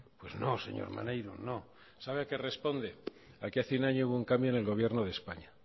pues no señor maneiro no sabe a qué responde a que hace un año hubo un cambio en el gobierno de españa